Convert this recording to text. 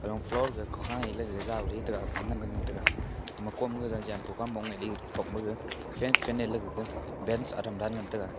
arong floor ga khua lega jao le taiga aga ngan ngan taiga ama kom ga jampu gam mong ei ley otok ma fak finan kega adam dan ngan taiga.